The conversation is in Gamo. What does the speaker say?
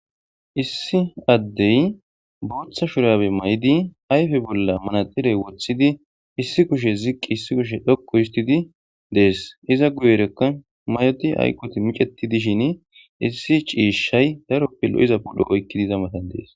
issi addey booththa shurabe mayidi ayfe bolla manaxirey woththidi issi kushe ziqqi issi kushe dhoqu histidi dees iza guyerekka may7odi hayqoti miceti dishin issi ciishay daroppe lo7iza puddo oykkidiza matan dees